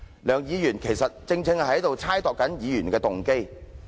梁議員其實是在猜度議員的動機。